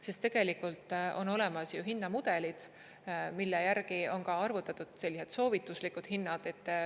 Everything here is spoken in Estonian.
Sest tegelikult on olemas hinnamudelid, mille järgi on arvutatud sellised soovituslikud hinnad.